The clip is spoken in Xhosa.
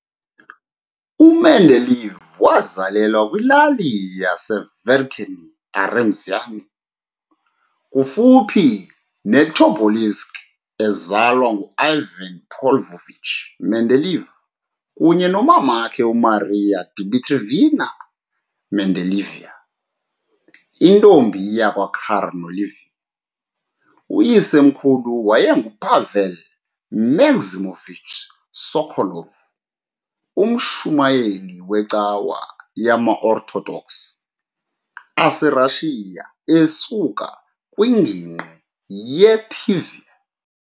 U-Mendeleev wazalelwa kwilali yase-Verkhnie Aremzyani, kufuphi ne-Tobolsk, ezalwa ngu-Ivan Pavlovich Mendeleev kunye nomkakhe uMaria Dmitrievna Mendeleeva, intombi yakwaKornilieva. Uyisemkhulu waye enguPavel Maximovich Sokolov, umshumayeli wecawa yamaOrthodox aserussia esuka kwingingqi ye-Tver .